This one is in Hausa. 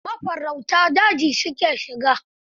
Mafarauta daji su ke shiga.